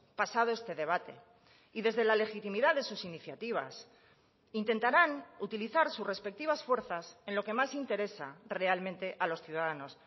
pasado este debate y desde la legitimidad de sus iniciativas intentarán utilizar sus respectivas fuerzas en lo que más interesa realmente a los ciudadanos